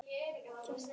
Kveðjan vandist skjótt.